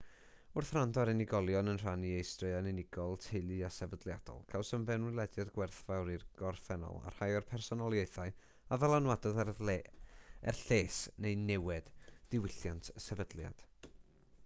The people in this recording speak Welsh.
wrth wrando ar unigolion yn rhannu eu straeon unigol teulu a sefydliadol cawsom fewnwelediad gwerthfawr i'r gorffennol a rhai o'r personoliaethau a ddylanwadodd er lles neu niwed diwylliant y sefydliad